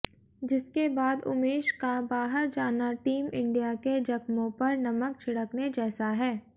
जिसके बाद उमेश का बाहर जाना टीम इंडिया के जख्मों पर नमक छिड़कने जैसा है